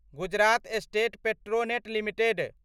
Gujarat state Petronet limited